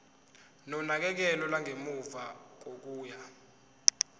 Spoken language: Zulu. nonakekelo lwangemuva kokuya